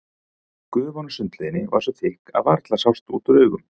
Gufan úr sundlauginni var svo þykk að varla sást út úr augum.